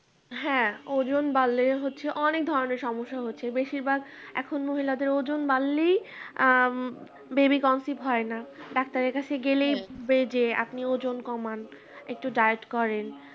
হ্যাঁ ওজন বাড়লে হচ্ছে অনেক ধরণের সমস্যা হচ্ছে বেশিরভাগ এখন মহিলাদের ওজন বাড়লেই আ baby conceive হয় না ডাক্তারের কাছে গেলেই বে যে আপনি ওজন কমান একটু diet করেন